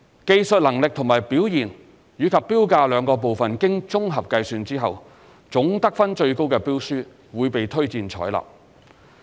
技術能力及表現與標價兩部分經綜合計算後，總得分最高的標書會被推薦採納。